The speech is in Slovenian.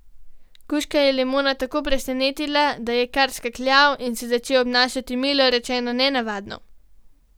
Kužka je limona tako presenetila, da je kar skakljal in se začel obnašati, milo rečeno, nenavadno.